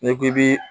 N'i ko k'i bi